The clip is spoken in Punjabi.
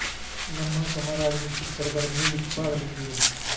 ਲੰਮਾ ਸਮਾਂ ਰਾਜਨੀਤਿਕ ਸਰਗਰਮੀਆਂ ਵਿੱਚ ਭਾਗ ਲੈਂਦੀ ਰਹੀ